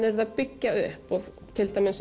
verið að byggja upp og